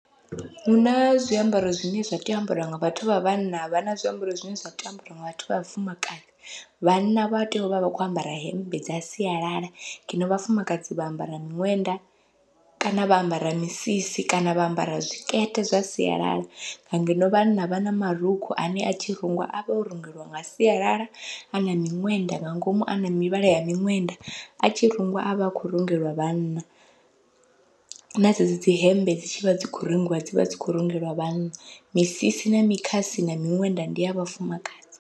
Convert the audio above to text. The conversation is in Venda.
Huna zwiambaro zwine zwa tea u ambariwa nga vhathu vha vhanna, havha na zwiambaro zwine zwa tea u ambariwa nga vhathu vha vhafumakadzi, vhanna vha tea uvha vha kho ambara hemmbe dza sialala ngeno vhafumakadzi vha ambara miṅwenda kana vha ambara misisi kana vha ambara zwikete zwa sialala. Ngeno vhanna vha na marukhu ane atshi rungiwa avha o rungeliwa nga sialala ana miṅwenda nga ngomu ana mivhala ya miṅwenda, atshi rungiwa avha a khou rungeliwa vhanna na dzedzi dzi hembe dzi tshivha dzi khou rungiwa dzivha dzi khou rungeliwa vhanna, misisi na mikhasi na miṅwenda ndi ya vhafumakadzi.